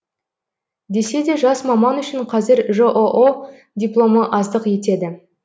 десе де жас маман үшін қазір жоо дипломы аздық етеді